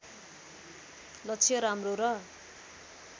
लक्ष्य राम्रो र